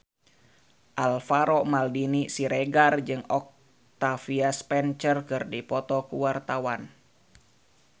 Alvaro Maldini Siregar jeung Octavia Spencer keur dipoto ku wartawan